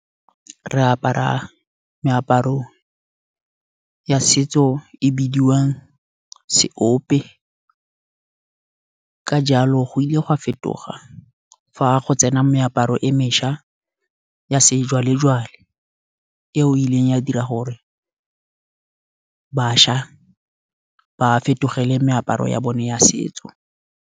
Re apara meaparo ya setso e bidiwang seope. Ka jalo go ile go a fetoga fa go tsena ka meaparo e mešwa ya sejwalejwale. E o ileng ya dira gore bašwa ba fetogele meaparo ya bone ya setso.